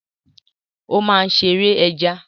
Ó máa ṣe ère ẹja.